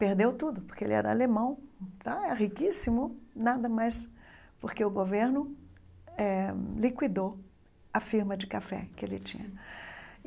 Perdeu tudo, porque ele era alemão, riquíssimo, nada mais, porque o governo eh liquidou a firma de café que ele tinha.